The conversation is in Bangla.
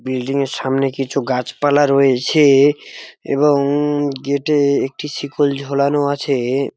বিল্ডিং এর সামনে কিছু গাছপালা রয়েছে-এ এবং গেট -এ একটি শিকল ঝোলানো আছে-এ।